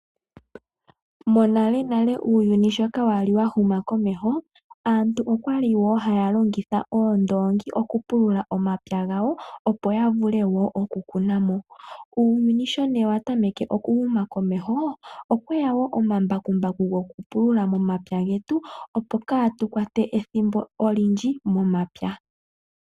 Monale nale uuyuni sho kaa wa li wa huma komeho , aantu okwa li wo haya longitha oondoongi oku pulula omapya gawo, opo ya vule woo oku kuna mo. Uuyuni ne sho wa tameke oku huma komeho, okwe ya wo omambakumbaku goku pulula momapya getu, opo kaa tu kwate ethimbo olindji momapya.